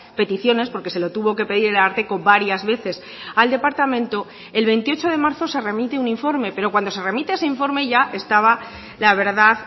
peticiones porque se lo tuvo que pedir el ararteko varias veces al departamento el veintiocho de marzo se remite un informe pero cuando se remite ese informe ya estaba la verdad